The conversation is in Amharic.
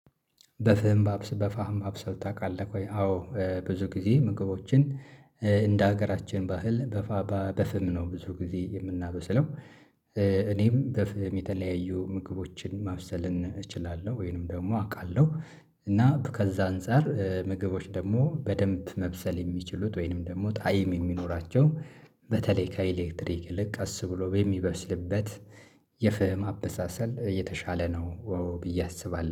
በፍም በፋም ማብሰል ታውቃለህ ቆይ አዎ ብዙ ጊዜ ምግቦችን እንደ ሀገራችን ባህል በፋባ በፍም ነው ብዙ ጊዜ የምናበስለው እኔም በፍም የተለያዩ ምግቦችን ማብሰል እችላለሁ ወይንም ደግሞ አውቃለሁ፤ እና ከዛ አንፃር ምግቦች ደግሞ በደንብ መብሰል የሚችሉት ወይንም ደግሞ ጣይም የሚኖራቸው በተለይ ከኤሌክትሪክ ይልቅ ቀስ ብሎ በሚበስልበት የፍህም አበሳሰል የተሻለ ነው ብዬ አስባለሁ።